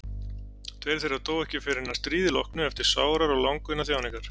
Tveir þeirra dóu ekki fyrr en að stríði loknu eftir sárar og langvinnar þjáningar.